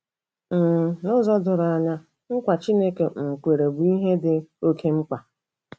um N'ụzọ doro anya, nkwa Chineke um kwere bụ ihe dị oké mkpa.